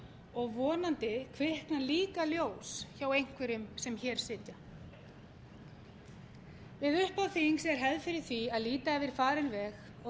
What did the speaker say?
og vonandi kviknar líka ljós hjá einhverjum sem hér sitja við upphaf þings er hefð fyrir því að líta yfir farinn veg og